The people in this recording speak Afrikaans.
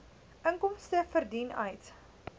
inkomste verdien uit